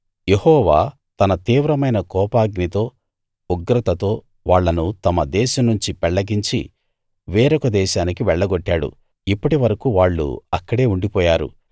యెహోవా తన తీవ్రమైన కోపాగ్నితో ఉగ్రతతో వాళ్ళను తమ దేశం నుంచి పెళ్ళగించి వేరొక దేశానికి వెళ్లగొట్టాడు ఇప్పటి వరకూ వాళ్ళు అక్కడే ఉండిపోయారు